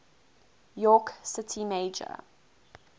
york city mayor